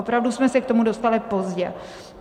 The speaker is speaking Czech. Opravdu jsme se k tomu dostali pozdě.